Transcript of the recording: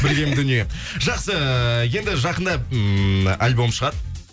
білген дүние жақсы енді жақында ммм альбом шығады